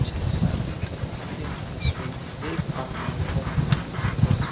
जैसा कि आप यहां तस्वीर देख पा रहे हैं इस तस--